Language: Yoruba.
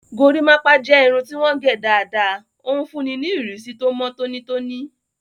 Gorímápá jẹ́ irun tí wọ́n gẹ̀ dáadáa, ó ń fúnni ní ìrísí tó mọ́ tónítóní